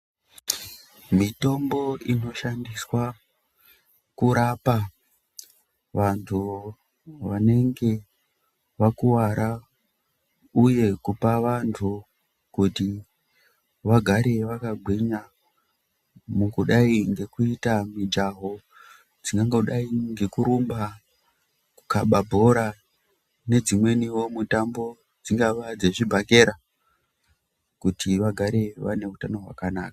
Mitombo inoshandiswa kurapa vantu vanenge vakuwara uye kupa vantu kuti vagare vakagwinya mukudai ngekuita mijaho, dzingangodayi ngekurumba, kukhabe bhora nedzimweniwo mitambo dzingave dzechibhakera kuti vagare neutano hwakanaka.